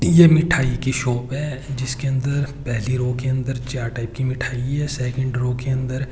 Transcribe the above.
यह मिठाई कि शॉप है जिसके अंदर पहली रो के अंदर चार टाइप की मिठाई है सेकंड रो के अंदर --